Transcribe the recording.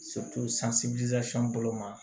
bolo ma